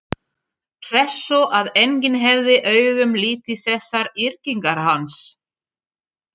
Hressó að enginn hefði augum litið þessar yrkingar hans?